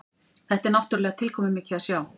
Þetta er náttúrulega tilkomumikið að sjá